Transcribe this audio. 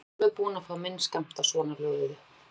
Ég er alveg búinn að fá minn skammt af svonalöguðu.